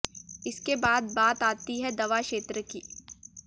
इसके बाद बात आती है दवा क्षेत्र की